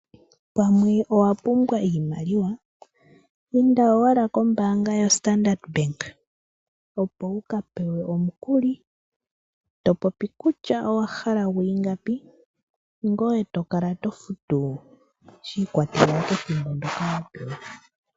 Pamwe owa pumbwa oshimaliwa inda owala kombaanga yo standard bank opo wukapewe omukuli topopi kutya owahala gwii ngapi ngoye tokala to futu shii kwatela kethimbo ndyoka wa pewa.